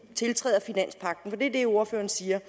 tiltræder finanspagten for er det ordføreren siger